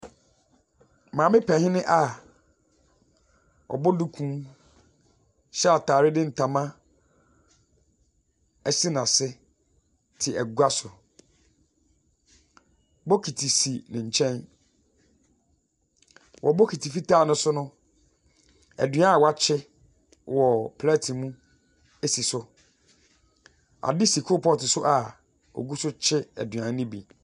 Maame panin a ɔbɔ duku hyɛ atadeɛ de ntama asi n'asene te agya so. Bokiti si ne nkyɛn, wɔ bokiti fitaa no so no, aduan a wɔakye wɔ plɛte mu si so. Ade si choal pot so a ogu so kye aduan no bi.